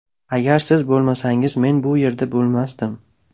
Agar siz bo‘lmasangiz, men bu yerda bo‘lmasdim”.